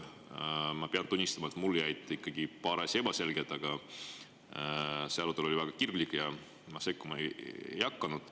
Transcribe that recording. Ma pean tunnistama, et mulle jäid ikkagi paar asja ebaselgeks, aga see arutelu oli väga kirglik ja ma sekkuma ei hakanud.